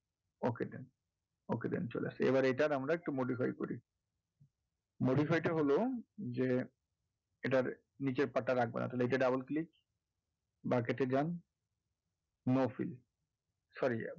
Okay then, okay then চলে আসে এবার এটার আমরা modify করবে modify টা হলো যে এটার নীচের part টা রাখবেননা তাহলে এটাতে double click bucket এ যান no field sorry মানে,